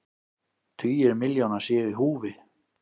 Tugir milljóna séu í húfi.